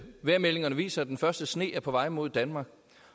vejrmeldingerne viser at den første sne er på vej mod danmark